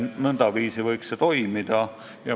Nõndaviisi võiks see toimida.